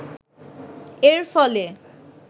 এর ফলে